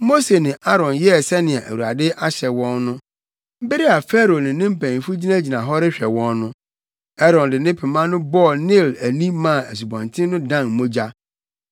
Mose ne Aaron yɛɛ sɛnea Awurade ahyɛ wɔn no. Bere a Farao ne ne mpanyimfo gyinagyina hɔ rehwɛ wɔn no, Aaron de pema no bɔɔ Nil ani maa asubɔnten no dan mogya.